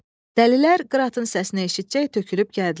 Dəlilər qıratın səsini eşitcək tökülüb gəldilər.